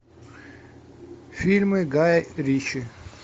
фильмы гая ричи